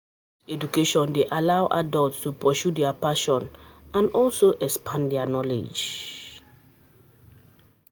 Adult education de allow adult to pursue their passion and also expand their knowledge